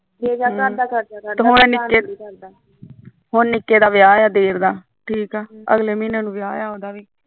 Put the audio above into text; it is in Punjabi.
ਹੁਣ ਨਿੱਕੇ ਦਿਓਰ ਦਾ ਵਿਆਹ ਐ ਅਗਲੇ ਮਹੀਨੇ ਵੀ